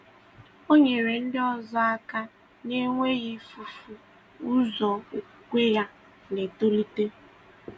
Ọ nyere ndị ọzọ aka na-enweghị ifufu ụzọ okwukwe ya na-etolite.